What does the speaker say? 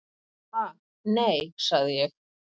"""Ha, nei, sagði ég."""